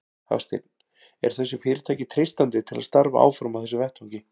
Hafsteinn: Er þessu fyrirtæki treystandi til að starfa áfram á þessum vettvangi?